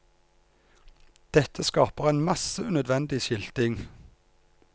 Dette skaper en masse unødvendig skilting.